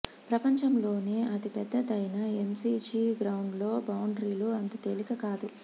ప్రపంచంలోనే ఆతి పెద్దదైన ఎమ్సీజీ గ్రౌండ్లో బౌండరీలు అంత తేలిక కాదు